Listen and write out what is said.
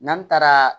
N'an taara